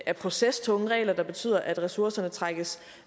er procestunge regler der betyder at ressourcerne trækkes